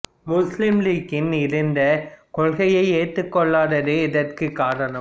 முசுலிம் லீகின் இருதேசக் கொள்கையை ஏற்றுக் கொள்ளாததே இதற்குக் காரணம்